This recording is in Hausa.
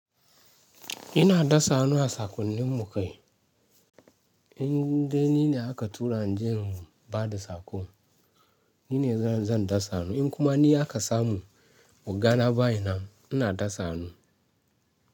Ina dasa hannu a sakonnin mu kai. In dai ni ne aka tura inje in ba da sako, ni ne zan dasa hannu. In kuma ni aka samu oga na bayi nan, ina dasa hannu.